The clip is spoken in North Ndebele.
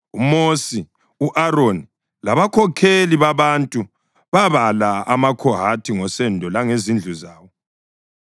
UMosi, u-Aroni labakhokheli babantu babala amaKhohathi ngosendo langezindlu zawo.